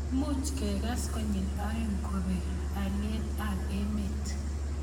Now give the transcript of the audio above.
much kekes konyil aeng' kopee haliyet ab emet